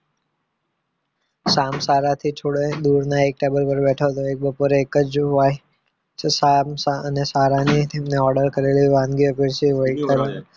શ્યામ શાળાથી થોડે દૂરના એક ટેબલ પર બેઠો હતો એક બપોરે એક જ જો શામ અને શાળાની તેમને ઓર્ડર કરેલી વાનગીઓ પીરસી હોય